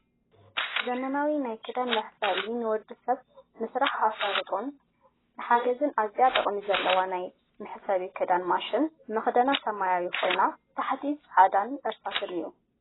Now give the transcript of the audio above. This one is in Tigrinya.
ዘመናዊ ናይ ክዳን መሕፀቢ ንወዲሰብ ንስራሕ ኣሳልጦን ንሓገዝን ኣዝያ ጥቅሚ ዘለዋ ናይ መሕፀቢ ክዳን ማሽን መክደና ሰማያዊ ኮይኒ ታሕታ ፃዕዳን እርሳስን እዩ።